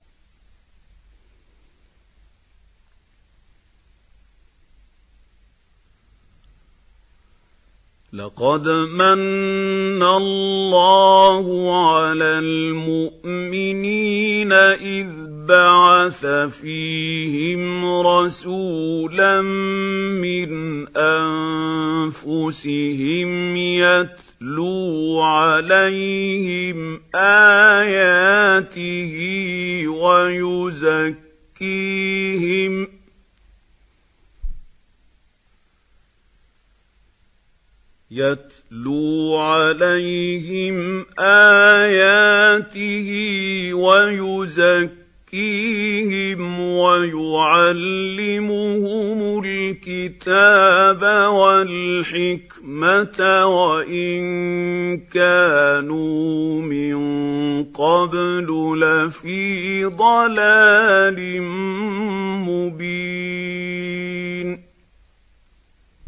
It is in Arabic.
لَقَدْ مَنَّ اللَّهُ عَلَى الْمُؤْمِنِينَ إِذْ بَعَثَ فِيهِمْ رَسُولًا مِّنْ أَنفُسِهِمْ يَتْلُو عَلَيْهِمْ آيَاتِهِ وَيُزَكِّيهِمْ وَيُعَلِّمُهُمُ الْكِتَابَ وَالْحِكْمَةَ وَإِن كَانُوا مِن قَبْلُ لَفِي ضَلَالٍ مُّبِينٍ